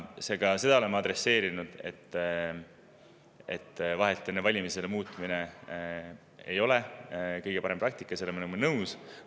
Me oleme seda adresseerinud, et vahetult enne valimisi muutmine ei ole kõige parem praktika, sellega me oleme nõus.